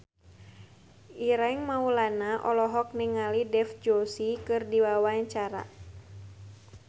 Ireng Maulana olohok ningali Dev Joshi keur diwawancara